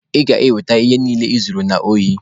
Ị ga-eweta ihe niile I zuru n'ohi.